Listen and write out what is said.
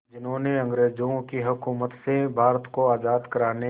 जिन्होंने अंग्रेज़ों की हुकूमत से भारत को आज़ाद कराने